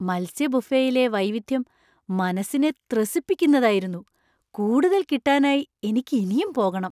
മത്സ്യ ബുഫേയിലെ വൈവിധ്യം മനസ്സിനെ ത്രസിപ്പിക്കുന്നതായിരുന്നു! കൂടുതൽ കിട്ടാനായി എനിക്ക് ഇനിയും പോകണം .